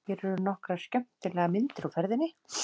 Hér eru nokkrar skemmtilegar myndir úr ferðinni.